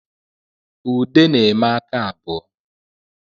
Ude na-eme aka abụọ